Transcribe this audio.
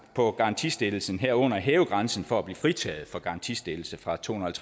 på garantistillelsen herunder hæve grænsen for at blive fritaget for garantistillelse fra tohundrede og